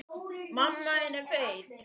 Hann var svo ótal margt.